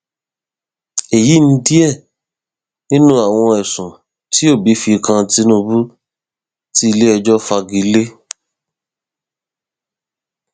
èyí ni díẹ nínú àwọn ẹsùn tí òbí fi kan tinubu tí iléẹjọ fagi lé